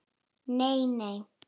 Nei, nei